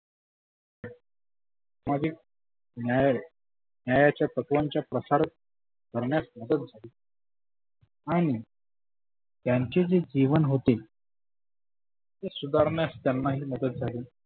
मागिल न्याय न्यायांच्या प्रसारक करण्यास मदत झाली. आणि त्यांचे जे जिवन होते. ते सुधारण्यास त्यांना ही मदत झाली.